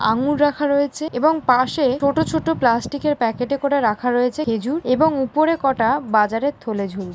আঙুর রাখা রয়েছে এবং পাশে ছোট ছোট প্লাস্টিকের প্যাকেটে করে রাখা রয়েছে খেজুর এবং উপরে কটা বাজারের থলে ঝুল --